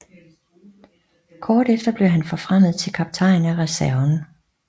Kort efter blev han forfremmet til kaptajn af reserven